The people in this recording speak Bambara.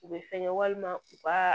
U bɛ fɛnkɛ walima u ka